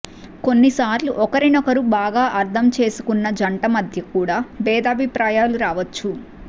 కొన్నిసార్లు ఒకరినొకరు బాగా అర్థం చేసుకున్న జంట మధ్య కూడా భేదాభిప్రాయాలు రావచ్చు